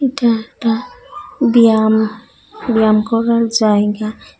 এটা একটা ব্যায়াম ব্যায়াম করার জায়গা।